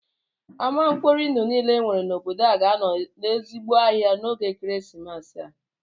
Ama mkpori ndụ niile e nwere n'obodo a ga-anọ n'ezigbo ahịa n'oge ekeresimesi a